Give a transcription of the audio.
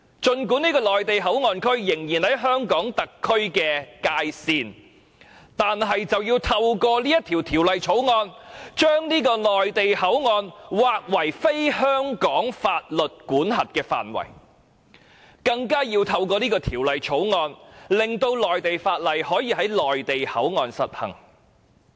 儘管這個內地口岸區仍然在香港特區的界線內，但卻透過《條例草案》被劃為非香港法律管轄的範圍，更透過《條例草案》令內地法例可以在內地口岸區實行。